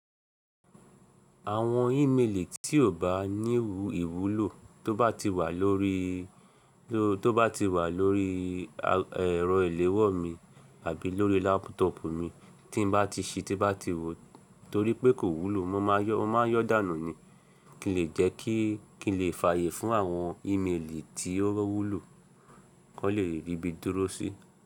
Àwọn ímeèlì tí ò bá ní ìwúlò tó bá ti wà lórí, tó bá ti wà lórí ẹ̀rọ ìléwọ́ mi àbí lórí lápútọ̀pù mi tí n bá ti si tí bá ti wò torí pé kò wúlò mo máa yọ́ dànù ni kí n lè jẹ́ kí n lè fààyè fún àwọn ímeèlì tí ó wúlò kọ́ lè rí bí i dúró sí.